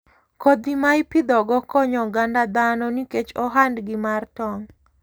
Kodhi ma ipidhogo konyo oganda dhano nikech ohandgi mar tong'.